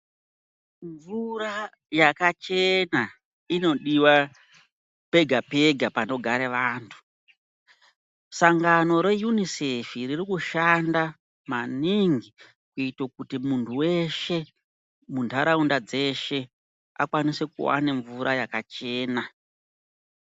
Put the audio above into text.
Mvura yakachena inodiwa pega pega panogare vantu. Sangano re "Unicef" ririkushanda maningi kuite kuti muntu weshe mundaraunda dzeshe akwanise kuwane mvura yakachena.